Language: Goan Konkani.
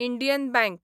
Indian bank